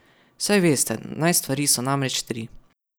Saj veste, naj stvari so namreč tri.